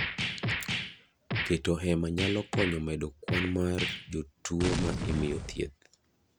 Keto hema nyalo konyo medo kwan mar jotuo ma imiyo thieth.